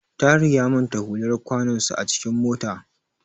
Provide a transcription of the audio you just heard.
Tahir ya manta hular kwanonsa a cikin mota.